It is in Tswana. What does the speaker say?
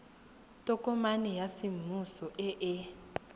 tokomane ya semmuso e e